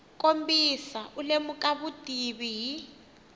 kombisa u lemuka vutivi hi